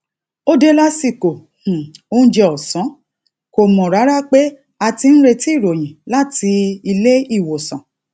ó dé lásìkò um oúnjẹ òsán kò mò rárá pé a ti ń retí ìròyìn láti láti ilé ìwòsàn